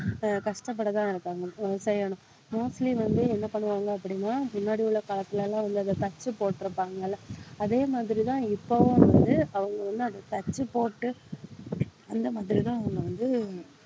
அஹ் கஷ்டப்பட்டுத்தான் இருக்காங்க mostly வந்து என்ன பண்ணுவாங்க அப்படின்னா முன்னாடி உள்ள காலத்துல எல்லாம் வந்து அந்த தச்சு போட்டிருப்பாங்கல்ல அதே மாதிரிதான் இப்பவும் வந்து அவங்க வந்து அத தச்சு போட்டு அந்த மாதிரிதான் அவங்க வந்து